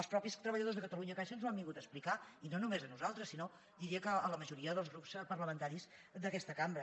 els mateixos treballadors de catalunyacaixa ens ho han vingut a explicar i no només a nosaltres sinó que diria que a la majoria dels grups parlamentaris d’aquesta cambra